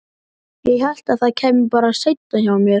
Ég hélt að það kæmi bara seinna hjá mér.